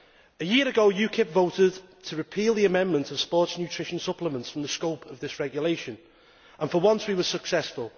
A year ago, UKIP voted to repeal the amendment of sports nutrition supplements from the scope of this regulation, and for once we were successful.